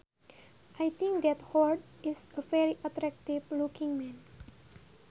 I think that howard is a very attractive looking man